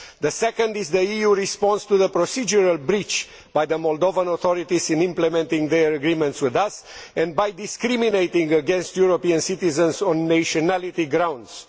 The second is the EU response to the procedural breach by the Moldovan authorities in implementing their agreements with us and by discriminating against European citizens on nationality grounds.